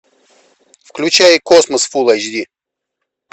включай космос фул айч ди